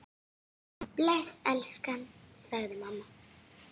Bless elskan! sagði mamma.